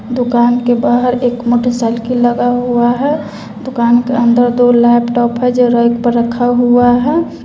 दुकान के बाहर एक मोटरसाइकिल लगा हुआ है दुकान के अंदर दो लैपटॉप है जो रैक पर रखा हुआ है।